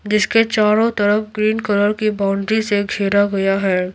जिसके चारों तरफ ग्रीन कलर की बाउंड्री से घेरा गया है।